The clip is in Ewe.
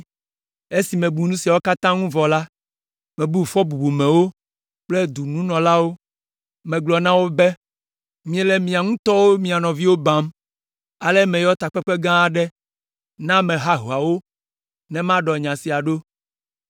Esi mebu nu siawo katã ŋuti vɔ la, mebu fɔ bubumewo kple dɔnunɔlawo. Megblɔ na wo be, “Miele miawo ŋutɔ mia nɔviwo bam!” Ale meyɔ takpekpe gã aɖe na ame hahoawo ne maɖɔ nya sia ɖo.